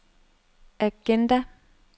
agenda